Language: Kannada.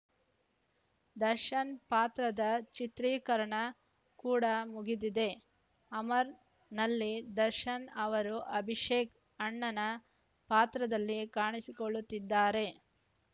ದರ್ಶನ್‌ ಪಾತ್ರದ ಚಿತ್ರೀಕರಣ ಕೂಡ ಮುಗಿದಿದೆ ಅಮರ್‌ನಲ್ಲಿ ದರ್ಶನ್‌ ಅವರು ಅಭಿಷೇಕ್‌ ಅಣ್ಣನ ಪಾತ್ರದಲ್ಲಿ ಕಾಣಿಸಿಕೊಳ್ಳುತ್ತಿದ್ದಾರೆ